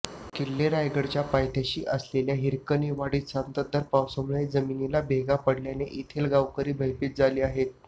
किल्ले रायगडच्या पायथ्याशी असलेल्या हिरकणीवाडीत संततधार पावसामुळे जमिनीला भेगा पडल्याने येथील गावकरी भयभीत झाले आहेत